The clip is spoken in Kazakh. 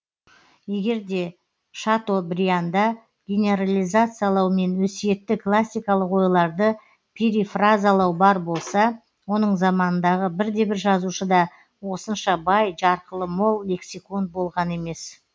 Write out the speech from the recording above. егер де шатобрианда генерализациялау мен өсиетті классикалық ойларды перифразалау бар болса оның заманындағы бірде бір жазушы да осынша бай жарқылы мол лексикон болған емес